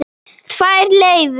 Tvær leiðir.